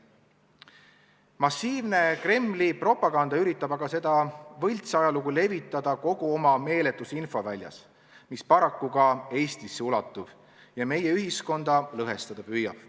Massiivne Kremli propaganda üritab aga seda võltsajalugu levitada kogu oma meeletus infoväljas, mis paraku ka Eestisse ulatub ja meie ühiskonda lõhestada püüab.